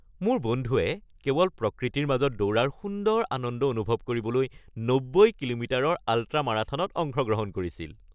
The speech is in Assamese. মোৰ বন্ধুৱে কেৱল প্ৰকৃতিৰ মাজত দৌৰাৰ সুন্দৰ আনন্দ অনুভৱ কৰিবলৈ ৯০ কিলোমিটাৰৰ আল্ট্ৰা-মাৰাথনত অংশগ্ৰহণ কৰিছিল।